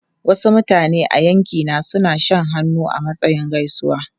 Wasu mutane a yankina suna shan hannu a matsayin gaisuwa.